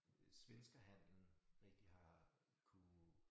Øh svenskerhandlen rigtig har kunnet